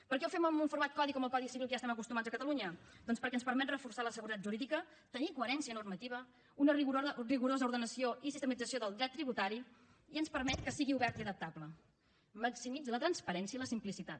per què ho fem amb un format codi com el codi civil que ja hi estem acostumats a catalunya doncs perquè ens permet reforçar la seguretat jurídica tenir coherència normativa una rigorosa ordenació i sistematització del dret tributari i ens permet que sigui obert i adaptable maximitza la transparència i la simplicitat